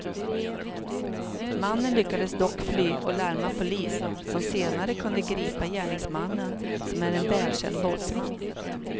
Mannen lyckades dock fly och larma polis som senare kunde gripa gärningsmannen, som är en välkänd våldsman.